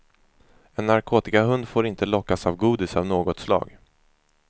En narkotikahund får inte lockas av godis av något slag.